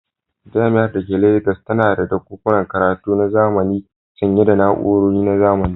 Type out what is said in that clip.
Jami'ar da ke Legas tana da ɗakunan karatu na zamani sanye da na'urori na zamani.